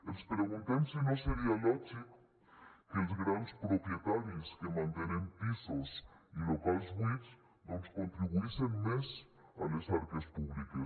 ens preguntem si no seria lògic que els grans propietaris que mantenen pisos i locals buits doncs contribuïssin més a les arques públiques